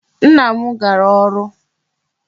Nna m gara ọrụ.